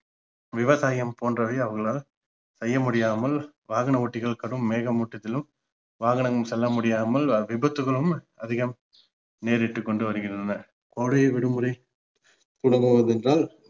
விவசாயம் போன்றவை அவர்களால் செய்ய முடியாமல் வாகன ஓட்டிகள் கடும் மேக மூட்டத்திலும் வாகனம் செல்ல முடியாமல் விபத்துகளும் அதிகம் நேரிட்டுக்கொண்டு வருகின்றன கோடை விடுமுறை தொடங்குவது ஏன்றால்